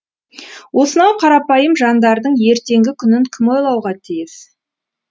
осынау қарапайым жандардың ертеңгі күнін кім ойлауға тиіс